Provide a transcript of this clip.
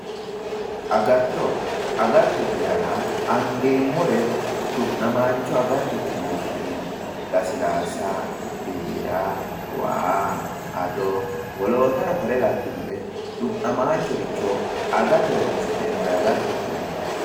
agatto, agattote yaa angeemmore du'namaancho agattote yine woshineemmo, lasilaasa, biira, waa, ado, wolootano kuri labbinore du'namaanchore agate horo'nsi'neemmore agatote yinanni.